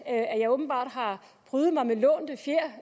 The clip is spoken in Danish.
af at jeg åbenbart har prydet mig med lånte fjer